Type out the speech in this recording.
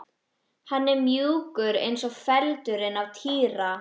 Hann var mjúkur eins og feldurinn á Týra.